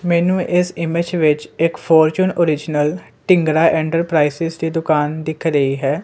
ਮੈਨੂੰ ਏਸ ਇਮੇਜ ਵਿੱਚ ਇੱਕ ਫੋਰਚੂਨ ਔਰਿਜਿਨਲ ਢੀਂਗਰਾ ਏਂਟਰਪ੍ਰਾਈਸੇਸ ਦੀ ਦੁਕਾਨ ਦਿੱਖ ਰਹੀ ਹੈ।